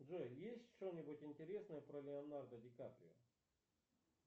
джой есть что нибудь интересное про леонардо дикаприо